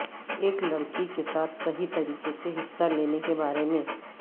ایک لڑکی کے ساتھ صحیح طریقے سے حصہ لینے کے بارے میں